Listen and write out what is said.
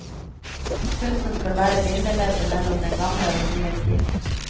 Kunsten skal være bindeleddet mellom den gamle og den nye tid.